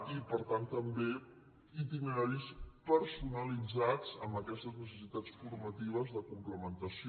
i per tant també itineraris personalitzats amb aquestes necessitats formatives de complementació